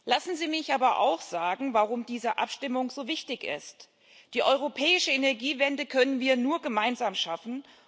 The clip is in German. Lassen Sie mich aber auch sagen, warum diese Abstimmung so wichtig ist Die europäische Energiewende können wir nur gemeinsam schaffen.